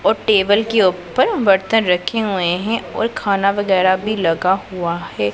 और टेबल के ऊपर बर्तन रखे हुए हैं और खाना वगैराह भी लगा हुआ है।